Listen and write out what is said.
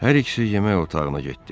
Hər ikisi yemək otağına getdi.